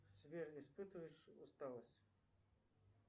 сбер испытываешь усталость